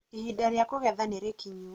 ihinda rĩa kũgetha nĩ rĩkinyu